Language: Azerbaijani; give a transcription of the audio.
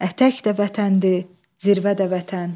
Ətək də vətəndir, zirvə də vətən.